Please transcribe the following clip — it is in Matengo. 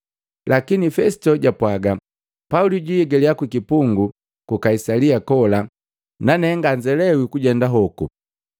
Lakini Fesito japwaga, “Pauli jwiigaliya kukipungu ku Kaisalia kola nane nganzelewi kujenda hoku.